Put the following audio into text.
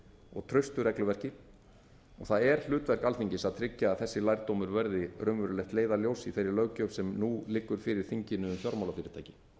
og traustu regluverki það er hlutverk alþingis að tryggja að þessi lærdómur verði raunverulegt leiðarljós í þeirri löggjöf sem nú liggur fyrir þinginu um fjármálafyrirtæki